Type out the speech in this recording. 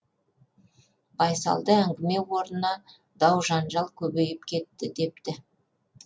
байсалды әңгіме орнына дау жанжал көбейіп кетті депті